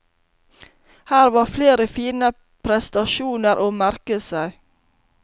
Her var flere fine prestasjoner å merke seg.